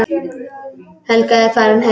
Helga er farin heim.